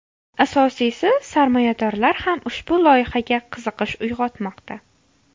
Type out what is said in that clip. Asosiysi – sarmoyadorlar ham ushbu loyihaga qiziqish uyg‘otmoqda.